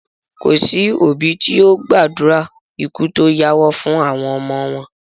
Kòsí òbí tí ó gbàdúrà ikú tó yáwọ́ fún àwọn ọmọ wọn